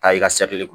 Taa i ka